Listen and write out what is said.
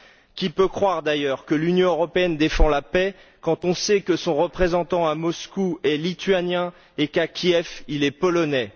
Qui peut croire d'ailleurs que l'Union européenne défend la paix quand on sait que son représentant à Moscou est lituanien et qu'à Kiev il est polonais?